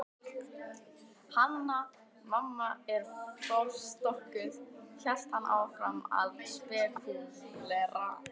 Hanna- Mamma er forstokkuð, hélt hann áfram að spekúlera.